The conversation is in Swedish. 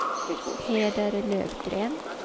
Peder Lövgren